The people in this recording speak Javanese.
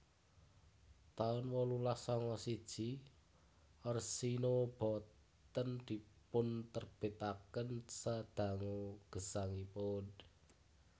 taun wolulas sanga siji Orsino Boten dipunterbitaken sadangu gesangipun